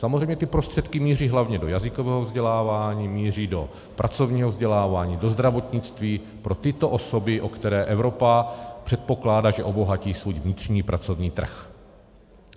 Samozřejmě ty prostředky míří hlavně do jazykového vzdělávání, míří do pracovního vzdělávání, do zdravotnictví pro tyto osoby, o které Evropa předpokládá, že obohatí svůj vnitřní pracovní trh.